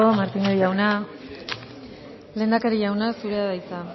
martínez jauna lehendakari jauna zurea da hitza